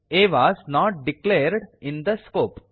A was not declared in the scope